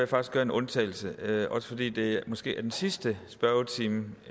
faktisk gøre en undtagelse også fordi det måske er den sidste spørgetime